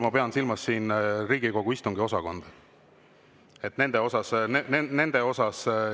Ma pean silmas Riigikogu istungiosakonda.